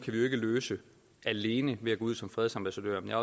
løse alene ved at gå ud som fredsambassadører jeg